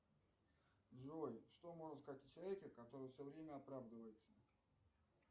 джой что можно сказать о человеке который все время оправдывается